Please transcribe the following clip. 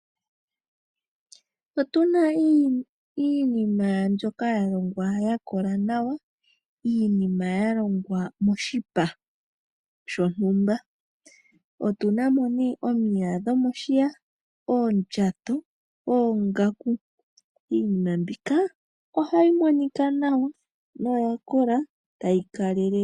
Otuna iinima mbyoka ya longwa yakola nawa. Iinima yalongwa moshipa shontumba. Otuna mo nee omiya dhomoshiya, oondjato, oongaku iinima mbika ohayi monika nawa no yakola tayi kalelele.